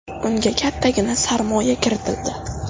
Unga kattagina sarmoya kiritildi.